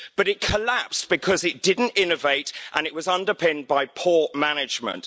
But it collapsed because it didn't innovate and it was underpinned by poor management.